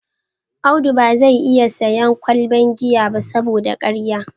Audu ba zai iya sayen kwalbar giya ba saboda ya karye